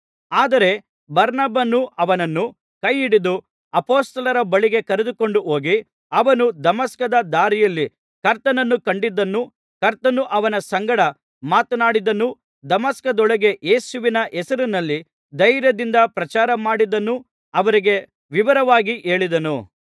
ಆದರೆ ಬಾರ್ನಬನು ಅವನನ್ನು ಕೈಹಿಡಿದು ಅಪೊಸ್ತಲರ ಬಳಿಗೆ ಕರೆದುಕೊಂಡುಹೋಗಿ ಅವನು ದಮಸ್ಕದ ದಾರಿಯಲ್ಲಿ ಕರ್ತನನ್ನು ಕಂಡದ್ದನ್ನೂ ಕರ್ತನು ಅವನ ಸಂಗಡ ಮಾತನಾಡಿದ್ದನ್ನೂ ದಮಸ್ಕದೊಳಗೆ ಯೇಸುವಿನ ಹೆಸರಿನಲ್ಲಿ ಧೈರ್ಯದಿಂದ ಪ್ರಚಾರ ಮಾಡಿದ್ದನ್ನೂ ಅವರಿಗೆ ವಿವರವಾಗಿ ಹೇಳಿದನು